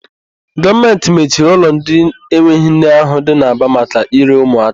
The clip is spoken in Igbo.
Gọọmentị mechiri ụlọ ndị enweghị nne ahụ dị n'Aba maka ire ụmụaka.